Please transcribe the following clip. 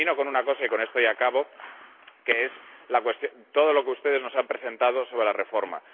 Y termino con una cosa, y con esto ya acabo, que es todo lo que ustedes nos han presentado sobre la reforma.